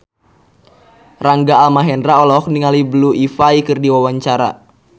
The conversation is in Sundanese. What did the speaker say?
Rangga Almahendra olohok ningali Blue Ivy keur diwawancara